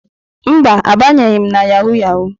Mba, abanyeghị m na yahụ yahụ.